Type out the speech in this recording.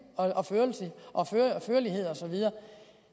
og førlighed og så videre